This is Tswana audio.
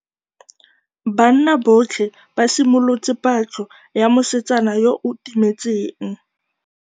Banna botlhê ba simolotse patlô ya mosetsana yo o timetseng.